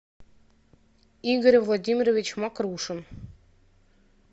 игорь владимирович мокрушин